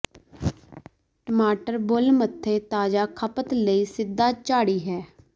ਟਮਾਟਰ ਬੁਲ ਮੱਥੇ ਤਾਜ਼ਾ ਖਪਤ ਲਈ ਸਿਧਾ ਝਾੜੀ ਹੈ